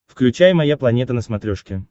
включай моя планета на смотрешке